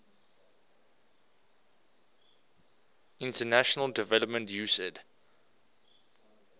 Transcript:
international development usaid